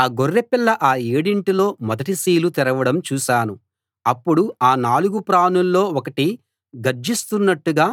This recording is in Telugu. ఆ గొర్రెపిల్ల ఆ ఏడింటిలో మొదటి సీలు తెరవడం చూశాను అప్పుడు ఆ నాలుగు ప్రాణుల్లో ఒకటి గర్జిస్తున్నట్టుగా